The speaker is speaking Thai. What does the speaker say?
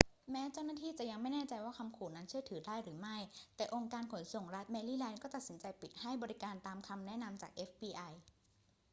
แม้เจ้าหน้าที่จะยังไม่แน่ใจว่าคำขู่นั้นเชื่อถือได้หรือไม่ แต่องค์การขนส่งรัฐแมรี่แลนด์ก็ตัดสินใจปิดให้บริการตามคำแนะนำจาก fbi